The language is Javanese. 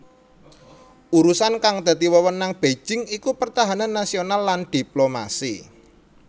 Urusan kang dadi wewenang Beijing iku pertahanan nasional lan diplomasi